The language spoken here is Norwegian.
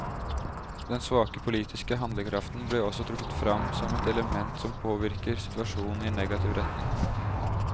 Den svake politiske handlekraften ble også trukket frem som et element som påvirker situasjonen i negativ retning.